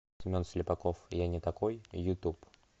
семен слепаков я не такой ютуб